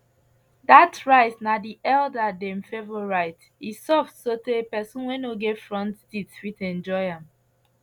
dat rice na di elder dem favorite e soft sotay pesin wey no get front teeth fit enjoy am